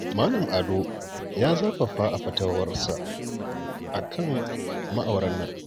Malam Ado ya zafafa a fatawarsa a kan ma'auran nan